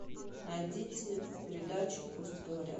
найдите передачу пусть говорят